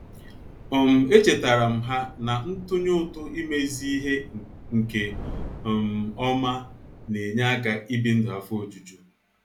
um Echetaram ha na-ntunye ụtụ imezi ihe nke um ọma na -enye aka ị bi ndụ afọ ojuju